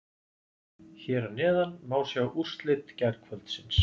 Hér að neðan má sjá úrslit gærkvöldsins.